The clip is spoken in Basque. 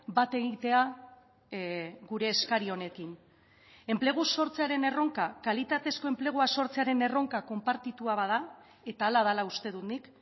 bat egitea gure eskari honekin enplegu sortzearen erronka kalitatezko enplegua sortzearen erronka konpartitua bada eta hala dela uste dut nik